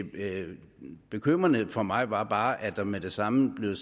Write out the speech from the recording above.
bekymrende for mig var bare at der med det samme blev